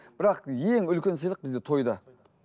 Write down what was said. бірақ ең үлкен сыйлық бізде тойда